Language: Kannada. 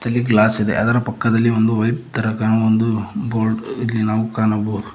ಇಲ್ಲಿ ಗ್ಲಾಸ್ ಇದೆ ಅದರ ಪಕ್ಕದಲಿ ಒಂದು ವೈಟ್ ತರ ಕಾನೋ ಒಂದು ಬೋರ್ಡ್ ಇಲ್ಲಿ ನಾವು ಕಾಣಬಹುದು.